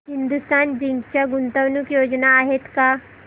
Hindustan Zinc च्या गुंतवणूक योजना आहेत का